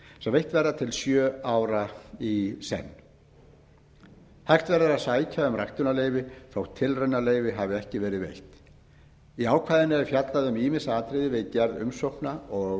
sem veitt verða til sjö ára í senn hægt verður að sækja um ræktunarleyfi þótt tilraunaleyfi hafi ekki verið veitt í ákvæðinu er fjallað um ýmis atriði við gerð umsókna og